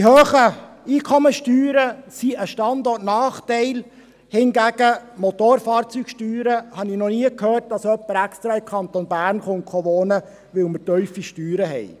Die hohen Einkommenssteuern sind ein Standortnachteil, hingegen habe ich von den Motorfahrzeugsteuern noch nie gehört, dass jemand extra in den Kanton Bern wohnen kommt, weil sie tief sind.